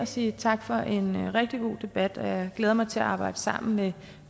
sige tak for en rigtig god debat og jeg glæder mig til at arbejde sammen med